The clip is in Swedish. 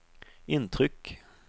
intryck